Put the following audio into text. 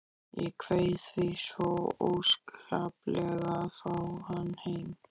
Ég kveið því svo óskaplega að fá hann heim.